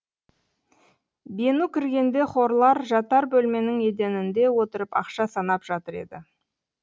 бену кіргенде хорлал жатар бөлменің еденінде отырып ақша санап жатыр еді